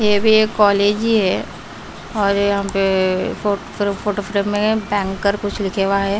ये भी एक कॉलेज ही है और यहां पे फोटो फ्रेम में बैंकर कुछ लिखे हुआ है।